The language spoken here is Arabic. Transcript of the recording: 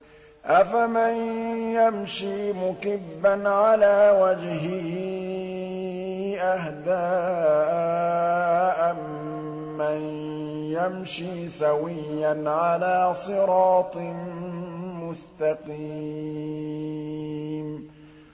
أَفَمَن يَمْشِي مُكِبًّا عَلَىٰ وَجْهِهِ أَهْدَىٰ أَمَّن يَمْشِي سَوِيًّا عَلَىٰ صِرَاطٍ مُّسْتَقِيمٍ